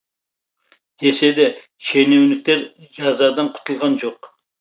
десе де шенеуніктер жазадан құтылған жоқ